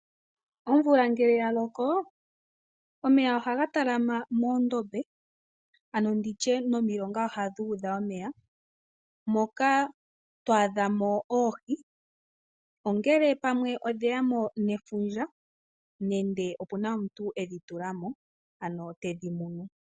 Omvula ngele yalako omeya ogaha talama moondombe ano nditye nomilonga ohadhi udha omeya , moka twaa dhamo oohi. Ongele pamwe odhe yamo nefundja nende pamwe opena omuntu edhi tulamo ano tedhi monomo.